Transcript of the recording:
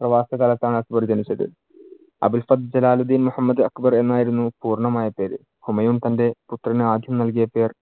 പ്രവാസ കാലത്താണ് അക്ബർ ജനിച്ചത്. അബ് അൽഫത്ത് ജലാൽ അൽ ദിൻ മുഹമ്മദ് അക്ബർ എന്നായിരുന്നു പൂർണമായ പേര്. ഹുമയൂൺ തന്‍റെ പുത്രന് ആദ്യം നൽകിയ പേർ